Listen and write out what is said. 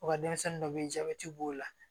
U ka denmisɛnnin dɔ bɛ ye jabɛti b'o la